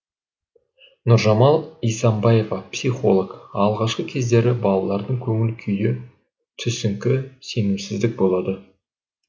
нұржамал исамбаева психолог алғашқы кездері балалардың көңіл күйі түсіңкі сенімсіздік болды